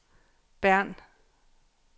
Bern